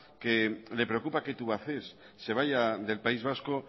que le preocupa que tubacex se vaya del país vasco